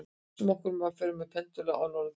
Hugsum okkur að við förum með pendúl á norðurpólinn.